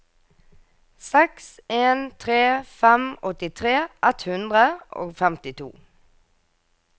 seks en tre fem åttitre ett hundre og femtito